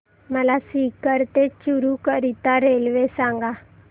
मला सीकर ते चुरु करीता रेल्वे सांगा